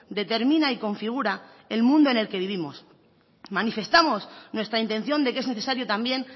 determina y configura el mundo en el que vivimos manifestamos nuestra intención de que es necesario también